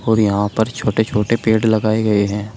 और यहां पर छोटे छोटे पेड़ लगाए गए हैं।